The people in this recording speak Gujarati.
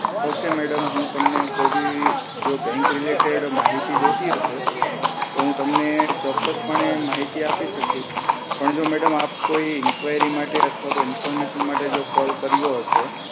ઓક madam હું તમને કોઈ બી જો બેંક related માહિતી જોતી હશે તો હું તમને ચોક્કસ પણે માહિતી આપી શકીશ પણ જો madam આપ કોઈ inquiry માટે અથવા information માટે call કર્યો હશે